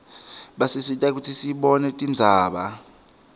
basisita kutsi sibone tindzaba